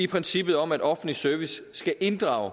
princippet om at offentlig service skal inddrage